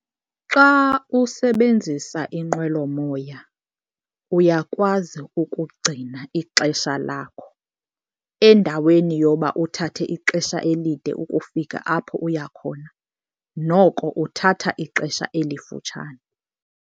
Xa usebenzisa inqwelomoya uyakwazi ukugcina ixesha lakho. Endaweni yoba uthathe ixesha elide ukufika apho uya khona noko uthatha ixesha elifutshane.